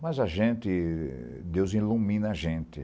Mas a gente... Deus ilumina a gente.